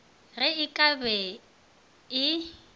ge e ka be e